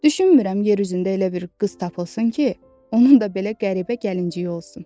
Düşünmürəm yeryüzündə elə bir qız tapılsın ki, onun da belə qəribə gəlinciyi olsun.